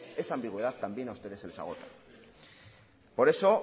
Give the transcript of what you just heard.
esa ambigüedad también a ustedes se les agota por eso